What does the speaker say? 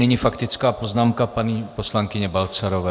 Nyní faktická poznámka paní poslankyně Balcarové.